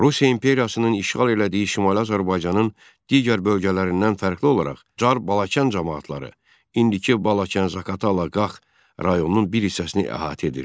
Rusiya imperiyasının işğal elədiyi Şimali Azərbaycanın digər bölgələrindən fərqli olaraq Çar Balakən camaatları indiki Balakən-Zaqatala-Qax rayonunun bir hissəsini əhatə edirdi.